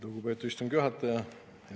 Lugupeetud istungi juhataja!